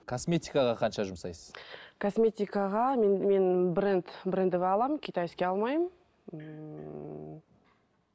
косметикаға қанша жұмсайсыз косметикаға мен мен бренд брендовый аламын китайский алмаймын ммм